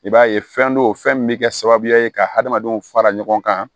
I b'a ye fɛn do fɛn min bɛ kɛ sababuya ye ka hadamadenw fara ɲɔgɔn kan